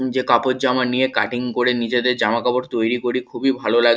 নিজে কাপড়জামা নিয়ে কাটিং করে নিজেদের জামাকাপড় তৈরি করি খুবই ভালো লা--